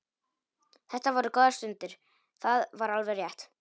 Þetta voru góðar stundir, það var alveg rétt.